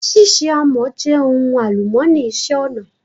Ṣíṣe àmọ́ jẹ́ ohun àlùmọ́nì ìṣe-ọnà